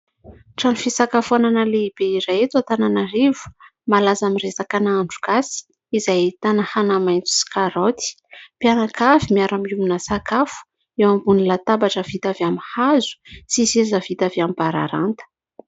Trano fisakafoanana lehibe iray eto Antananarivo malaza amin'ny resaka nahandro gasy izay ahitana anamaitso sy karaoty. Mpianakavy miara-miombona sakafo eo ambony latabatra vita avy amin'ny hazo sy seza vita avy amin'ny bararata.